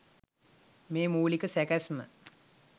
මේ මූලික සැකැස්ම